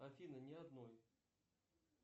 афина не одной